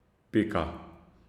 Pika.